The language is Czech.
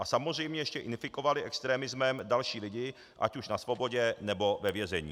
A samozřejmě ještě infikovali extremismem další lidi, ať už na svobodě, nebo ve vězení.